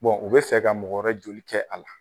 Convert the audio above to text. u bɛ fɛ ka mɔgɔ wɛrɛ joli kɛ a la